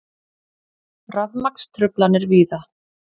Rafmagnstruflanir víða